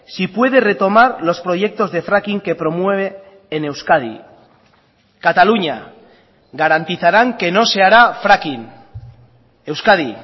si puede retomar los proyectos de fracking que promueve en euskadi cataluña garantizarán que no se hará fracking euskadi